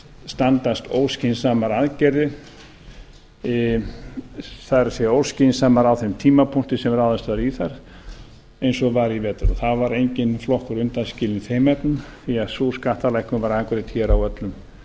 standast óskynsamar aðgerðir það er óskynsamar á þeim tímapunkti sem ráðist var í þær eins og var í vetur þar var enginn flokkur undanskilinn í þeim efnum því sú skattalækkun var afgreidd hér